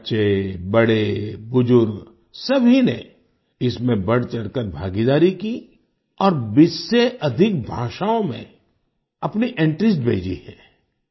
बच्चे बड़े बुजुर्ग सभी ने इसमें बढ़चढ़कर भागीदारी की और 20 से अधिक भाषाओं में अपनी एंट्रीज भेजी हैं